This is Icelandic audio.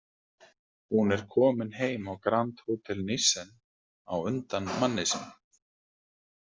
Hún er komin heim á Grand Hotel Nissen á undan manni sínum.